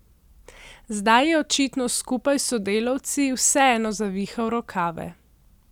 Zdaj je očitno skupaj s sodelavci vseeno zavihal rokave.